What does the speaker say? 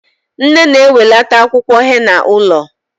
Nne na-enwelata akwụkwọ henna ụlọ